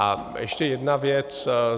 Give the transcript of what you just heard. A ještě jedna věc.